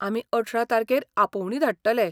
आमी अठरा तारखेर आपोवणीं धाडटले.